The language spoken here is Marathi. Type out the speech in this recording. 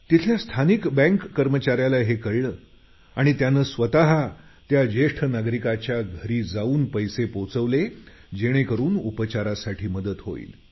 तिथल्या स्थानिक बँक कर्मचाऱ्याला हे कळलं आणि त्याने स्वत त्या ज्येष्ठ नागरिकाच्या घरी जाऊन पैसे पोचवले जेणेकरून उपचारासाठी मदत होईल